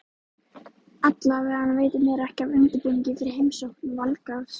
Allavega veitir mér ekki af undirbúningi fyrir heimsókn Valgarðs.